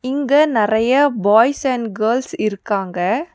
இங்கு நெறையா boys and girls இருக்காங்க.